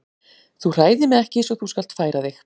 Þú hræðir mig ekki svo þú skalt færa þig.